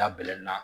Da bɛlɛ na